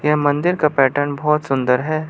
यह मंदिर का पैटर्न बहोत सुंदर है।